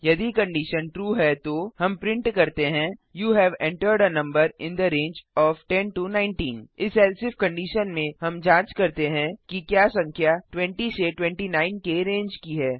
यदि condition true है तो हम प्रिंट करते हैं you have entered a number in the range of 10 19 इस एल्से इफ कंडिशन में हम जांच करते हैं कि क्या संख्या 20 29 के रेंज की है